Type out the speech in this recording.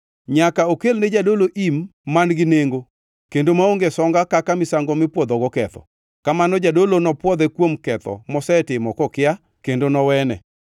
Nyaka okelne jadolo im man-gi nengo kendo maonge songa kaka misango mipwodhogo ketho. Kamano jadolo nopwodhe kuom ketho mosetimo kokia kendo nowene.